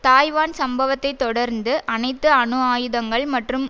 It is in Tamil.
தாய்வான் சம்பவத்தை தொடர்ந்து அனைத்து அணு ஆயுதங்கள் மற்றும்